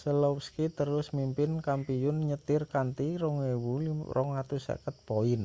selowski terus mimpin kampiyun nyetir kanthi 2.250 poin